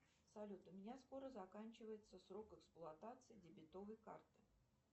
салют у меня скоро заканчивается срок эксплуатации дебетовой карты